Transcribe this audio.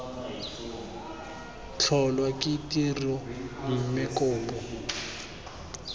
tlholwa ke tiro mme kopo